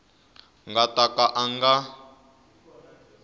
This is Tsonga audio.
nga ta ka a nga